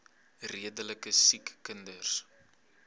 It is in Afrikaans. redelike siek kinders